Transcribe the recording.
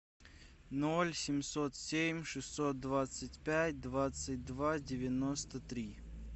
ноль семьсот семь шестьсот двадцать пять двадцать два девяносто три